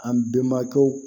An bɛnbakɛw